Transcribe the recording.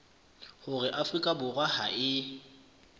hore afrika borwa ha e